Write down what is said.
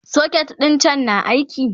socket ɗin can na aiki?